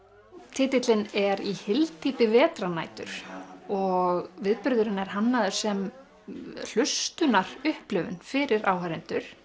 titillinn er í hyldýpi vetrarnætur og viðburðurinn er hannaður sem fyrir áhorfendur